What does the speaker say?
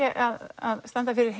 að standa fyrir